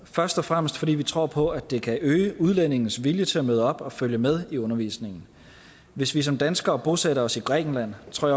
først og fremmest fordi vi tror på at det kan øge udlændinges vilje til at møde op og følge med i undervisningen hvis vi som danskere bosatte os i grækenland tror